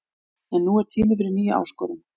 En nú er tími fyrir nýja áskorun.